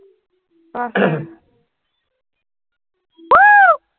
আহ আছে